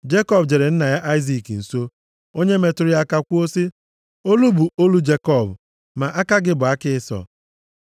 Jekọb jere nna ya Aịzik nso, onye metụrụ ya aka kwuo sị, “Olu bụ olu Jekọb ma aka gị bụ aka Ịsọ.”